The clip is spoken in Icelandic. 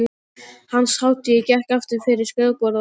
Hans hátign gekk aftur fyrir skrifborðið og settist.